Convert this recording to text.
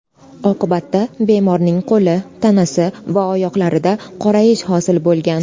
Oqibatda bemorning qo‘li, tanasi va oyoqlarida qorayish hosil bo‘lgan”.